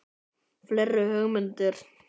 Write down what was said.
Fleiri hugmyndir?